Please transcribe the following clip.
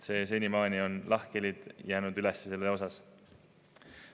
Senimaani on jäänud üles lahkhelid selles küsimuses.